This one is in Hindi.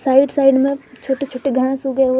साइड साइड में छोटे छोटे घास उगे हुए।